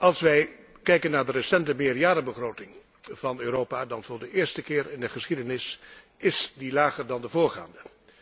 Als wij kijken naar de recente meerjarenbegroting van Europa, dan is die voor de eerste keer in de geschiedenis lager dan de voorgaande.